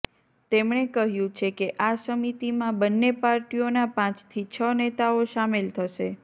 તેમણે કહ્યું છે કે આ સમિતીમાં બંને પાર્ટીઓના પાંચથી છ નેતાઓ શામેલ થશે